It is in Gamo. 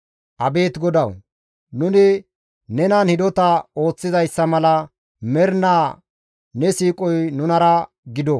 Abeet GODAWU! Nuni nenan hidota ooththizayssa mala mernaa ne siiqoy nunara gido.